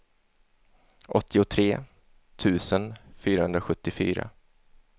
åttiotre tusen fyrahundrasjuttiofyra